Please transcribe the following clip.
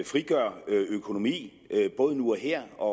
frigør økonomi både nu og her og